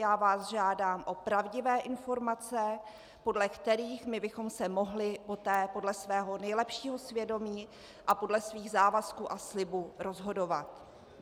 Já vás žádám o pravdivé informace, podle kterých my bychom se mohli poté podle svého nejlepšího svědomí a podle svých závazků a slibů rozhodovat.